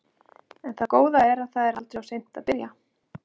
En það góða er að það er aldrei of seint að byrja.